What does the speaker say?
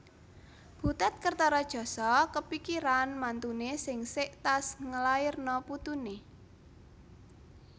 Butet Kertaredjasa kepikiran mantune sing sek tas ngelairno putune